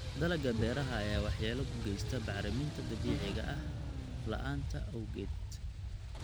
Dalagga beeraha ayaa waxyeello u geysta bacriminta dabiiciga ah la'aanta abaarta awgeed.